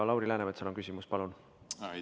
Lauri Läänemetsal on küsimus, palun!